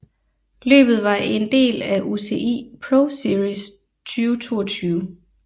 Løbet var en del af UCI ProSeries 2022